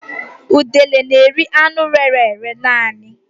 Udele n'eri anụ rére ere naanị